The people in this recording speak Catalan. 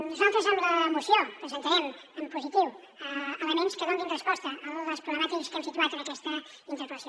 nosaltres amb la moció presentarem en positiu elements que donin resposta a les problemàtiques que hem situat en aquesta interpel·lació